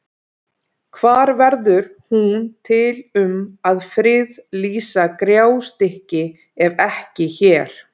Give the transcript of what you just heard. Hvar verður hún til um að friðlýsa Gjástykki ef ekki hér?